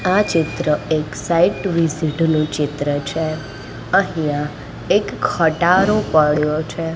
આ ચિત્ર એક સાઇટ વિઝિટ નું ચિત્ર છે અહિયા એક ખટારો પડ્યો છે.